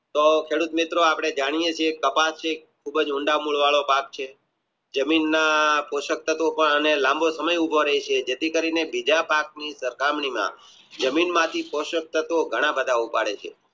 તો ખેડૂત મિત્રો અપને જાણીયે છીએ કપાસની ઊંડા મિલ વાળો ભંગ છે જમીનના પોશાક તત્વો પાર લાંબી પ્રમેય ઉભો રે છે જેથી કરીને બીજાની સરખામણીમાં જમીન માંથી શોષક તત્વો ઘણા બધા થાય છે